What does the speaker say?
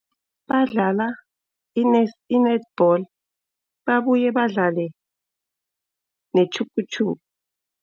Badlala i-netball babuye badlale netjhupitjhupi.